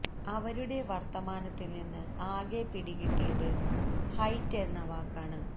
അവരുടെ വർത്തമാനത്തിൽ നിന്ന് ആകെ പിടി കിട്ടിയത് ഹൈറ്റ് എന്ന വാക്കാണ്